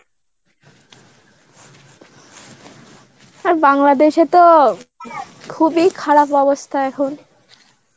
আর বাংলাদেশে তো খুবই খারাপ অবস্থা এখন.